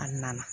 A na na